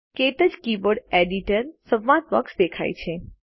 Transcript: ક્ટચ keyboard editor સંવાદ box દેખાય છે